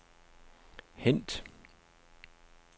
hent